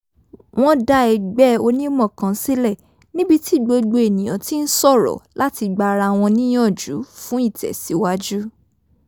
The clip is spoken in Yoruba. wọ́n dá ẹgbẹ́ onímọ̀ kan sílẹ̀ níbi tí gbogbo ènìyaǹ ti ń sọ̀rọ̀ láti gba ara wọn níyànjú fún ìtẹ̀síwájú